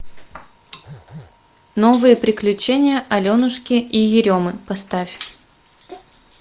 новые приключения аленушки и еремы поставь